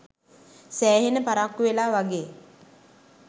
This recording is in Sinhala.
සෑහෙන පරක්කු වෙලා වගේ